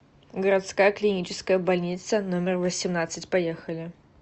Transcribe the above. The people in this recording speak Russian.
городская клиническая больница номер восемнадцать поехали